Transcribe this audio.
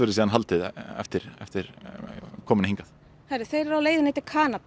síðan haldið eftir eftir komuna hingað þeir eru á leiðinni til Kanada